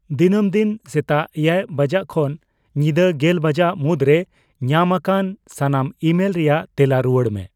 ᱫᱤᱱᱟᱹᱢ ᱫᱤᱱ ᱥᱮᱛᱟᱜ ᱮᱭᱟᱭ ᱵᱟᱡᱟᱜ ᱠᱷᱚᱱ ᱧᱤᱫᱟ ᱜᱮᱞ ᱵᱟᱡᱟᱜ ᱢᱩᱫᱨᱮ ᱧᱟᱢ ᱟᱠᱟᱱ ᱥᱟᱱᱟᱢ ᱤᱼᱢᱮᱞ ᱨᱮᱭᱟᱜ ᱛᱮᱞᱟ ᱨᱩᱣᱟᱹᱲ ᱢᱮ